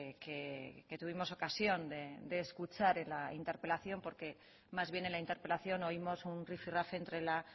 que tuvimos ocasión de escuchar en la interpelación porque más bien en la interpelación oímos un rifirrafe entre la